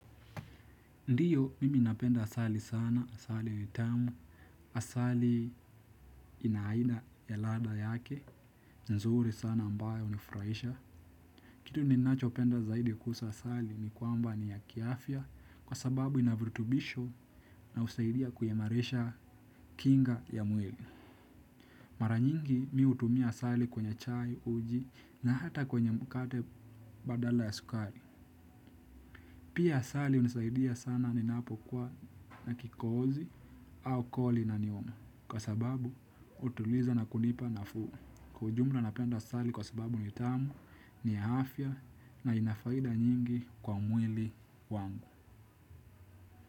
Ndiyo mimi napenda asali sana, asali tamu, asali ina aina ya ladha yake, nzuri sana ambayo unifuraisha. Kitu ninacho penda zaidi kuhusu asali ni kwamba ni ya kiafya kwa sababu ina viritubisho na usaidia kuimarisha kinga ya mwili. Mara nyingi mi utumia asali kwenye chai, uji na hata kwenye mkate badala ya sukari. Pia asali inisaidia sana ninapokuwa na kikohozi au koo linaniuma kwa sababu utuliza na kunipa na fuu. Kwa ujumla napenda sali kwa sababu ni tamu ni ya afya na ina faida nyingi kwa mwili wangu.